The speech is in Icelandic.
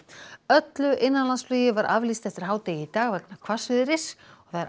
öllu innanlandsflugi var aflýst eftir hádegi í dag vegna hvassviðris